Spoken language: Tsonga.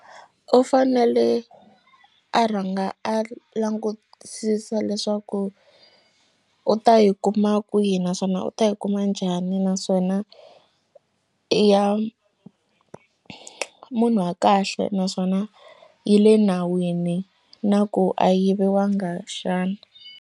U fanele a rhanga a langutisisa leswaku u ta yi kuma kwihi naswona u ta yi kuma njhani naswona ya munhu wa kahle naswona yi le nawini na ku a yi yiviwanga xana.